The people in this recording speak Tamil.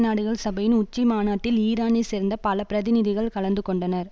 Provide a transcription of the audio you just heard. நாடுகள் சபையின் உச்சி மாநாட்டில் ஈரானை சேர்ந்த பல பிரதிநிநிகள் கலந்துகொண்டனர்